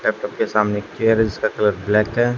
Laptop के सामने एक केयर है जिसका कलर ब्लैक है।